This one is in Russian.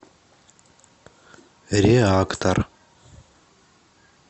реактор